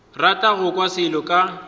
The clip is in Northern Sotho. rata go kwa selo ka